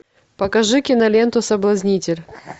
покажи киноленту соблазнитель